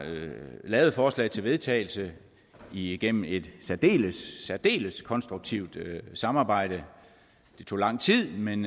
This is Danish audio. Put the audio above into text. lavet et forslag til vedtagelse igennem et særdeles særdeles konstruktivt samarbejde det tog lang tid men